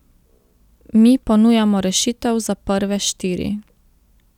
Mi ponujamo rešitev za prve štiri.